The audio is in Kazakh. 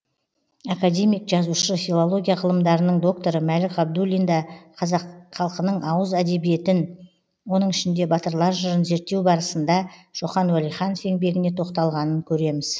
академик жазушы филология ғылымдарының докторы мәлік ғабдуллин да қазақ халқының ауыз әдебиетін оның ішінде батырлар жырын зерттеу барасында шоқан уәлиханов еңбегіне тоқталғанын көреміз